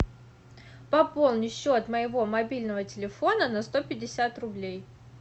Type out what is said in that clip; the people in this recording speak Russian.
пополни счет моего мобильного телефона на сто пятьдесят рублей